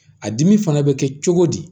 A dimi fana bɛ kɛ cogo di